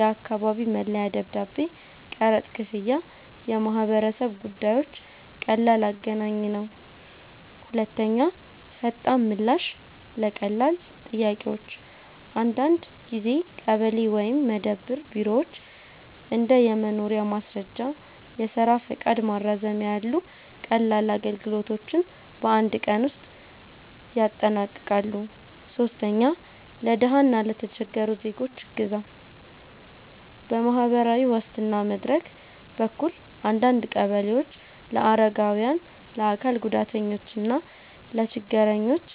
የአካባቢ መለያ ደብዳቤ፣ ቀረጥ ክፍያ፣ የማህበረሰብ ጉዳዮች) ቀላል አገናኝ ነው። 2. ፈጣን ምላሽ ለቀላል ጥያቄዎች - አንዳንድ ጊዜ ቀበሌ ወይም መደብር ቢሮዎች እንደ የመኖሪያ ማስረጃ፣ የስራ ፈቃድ ማራዘሚያ ያሉ ቀላል አገልግሎቶችን በአንድ ቀን ውስጥ ያጠናቅቃሉ። 3. ለድሃ እና ለተቸገሩ ዜጎች እገዛ - በማህበራዊ ዋስትና መድረክ በኩል አንዳንድ ቀበሌዎች ለአረጋውያን፣ ለአካል ጉዳተኞች እና ለችግረኞች